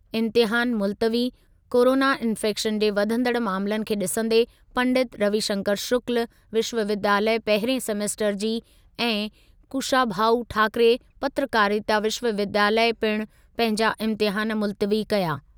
इम्तिहान मुल्तवी, corona infection जे वधंदड़ मामलनि खे ॾिसंदे पंडित रविशंकर शुक्ल विश्वविद्यालय पहिरिएं सेमेस्टर जी ऐं कुशाभाऊ ठाकरे पत्रकारिता विश्वविद्यालय पिणु पंहिंजा इम्तिहान मुल्तवी कया।